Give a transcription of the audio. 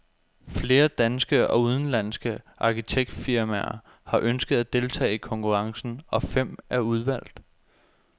Flere danske og udenlandske arkitektfirmaer har ønsket at deltage i konkurrencen, og fem er udvalgt.